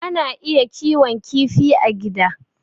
Ana iya kiwon kifi a gida.